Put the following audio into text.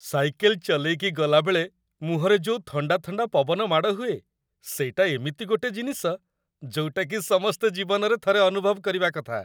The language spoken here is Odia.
ସାଇକେଲ ଚଲେଇକି ଗଲାବେଳେ ମୁହଁରେ ଯୋଉ ଥଣ୍ଡା ଥଣ୍ଡା ପବନ ମାଡ଼ ହୁଏ, ସେଇଟା ଏମିତି ଗୋଟେ ଜିନିଷ, ଯୋଉଟାକି ସମସ୍ତେ ଜୀବନରେ ଥରେ ଅନୁଭବ କରିବା କଥା ।